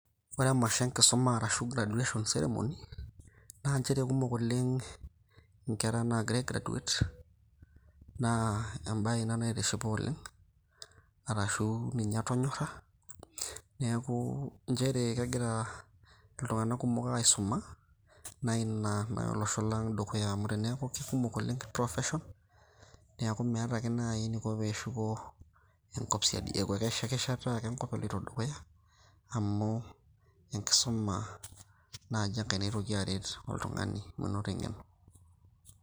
Ore emasho enkisuma arashu graduation ceremony naa nchere kumok oleng nkera naagira ai graduate naa embae ina naitishipa oleng arashu ninye atonyorra. Niaku nchere kegira iltung`anak kumok aisuma naa ina naya olosho lang dukuya amu teneaku kikumok oleng professions niaku meeta ake naaji eniko pee eshuko enkop siadi. Eeku keshetishetitai ake enkop eloito dukuya amu enkisuma naaji enkae naitoki aret oltung`ani menoto eng`eno.